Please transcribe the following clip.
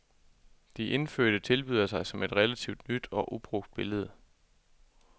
De indfødte tilbyder sig som et relativt nyt og ubrugt billede.